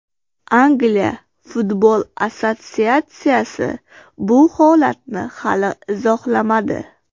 Angliya futbol assotsiatsiyasi bu holatni hali izohlamadi.